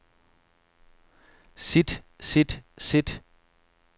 sit sit sit